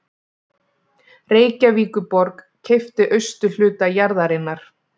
Reykjavíkurborg keypti austurhluta jarðarinnar